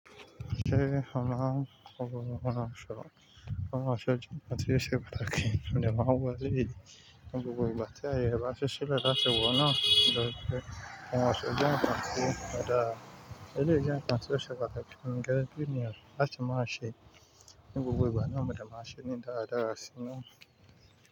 Ṣé ó máa ń lò òhùn ọ̀ṣọ́? Òhùn ọ̀ṣọ́ jẹ́ ǹkan tí ó ṣe pàtàkì. Mọ̀ dẹ̀ máa ń wọ̀, "Ẹleyii ni gbogbo ìgbà ti á yè rẹ̀ bà ṣí ṣilẹ láti wò ó náà." Nítorí pé, "Ohùn èso jẹ́ nkàn tí ó dára, eléyìí jẹ́ ǹkan tó ṣe pàtàkì fún mi gege bí ènìyàn láti máa ṣe ní gbogbo ìgbà náà, mọ dẹ̀ máà nṣe ní dáadáa sí inú.